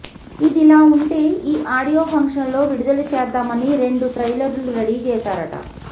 ఇదిలా వుంటే ఈ అడియో ఫంక్షన్ లో విడుదల చేద్దామని రెండు ట్రయిలర్లు రెడీ చేసారట